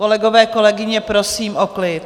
Kolegové, kolegyně, prosím o klid.